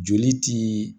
Joli ti